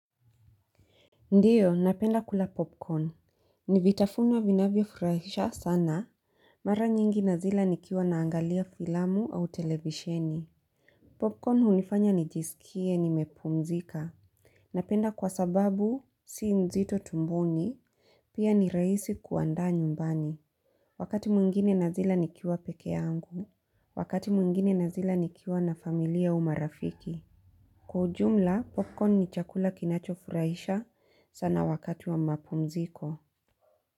Ndio, napenda kula popcorn, nivitafuna vinavyo furahisha sana, mara nyingi na zila nikiwa naangalia filamu au televisheni. Popcorn hunifanya nijisikie, nimepumzika. Napenda kwa sababu, si nzito tumboni, pia ni rahisi kuandaa nyumbani. Wakati mwingine na zila nikiwa peke yangu, wakati mwingine na zila nikiwa na familia au marafiki. Kwa ujumla popcorn ni chakula kinacho furahisha sana wakati wa mapumziko.